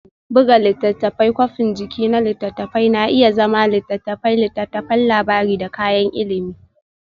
Buga Littattafai Kwafin jiki na littattafai na iya zama litattafai, littattafan labari da kayan ilimi.